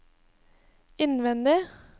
innvendig